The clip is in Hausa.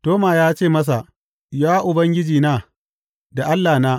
Toma ya ce masa, Ya Ubangijina da Allahna!